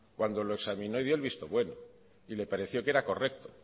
cuando lo examinó y dio el visto bueno y le pareció que era correcto